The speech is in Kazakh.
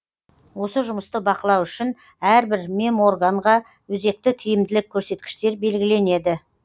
осы жұмысты бақылау үшін әрбір меморганға өзекті тиімділік көрсеткіштер белгіленеді